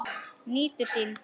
Nýtur sín.